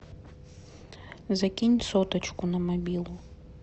закинь соточку на мобилу